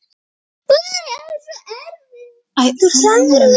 Aðeins of erfitt.